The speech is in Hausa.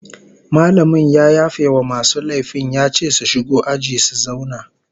Mallamin ya yafe wa masu laifin ya ce su shigo aji su zauna